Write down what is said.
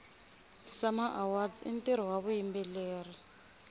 sama awards intiro wavayimbeleri